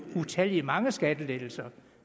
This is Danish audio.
utallige mange skattelettelser